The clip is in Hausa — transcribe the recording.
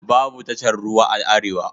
Babu tashar ruwa a arewa.